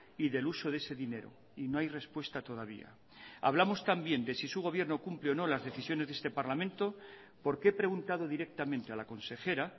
y del uso de ese dinero y no hay respuesta todavía hablamos también de si su gobierno cumple o no las decisiones de este parlamento porque he preguntado directamente a la consejera